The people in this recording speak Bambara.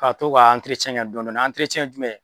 Ka to k'a dɔɔni , ye jumɛn ye ?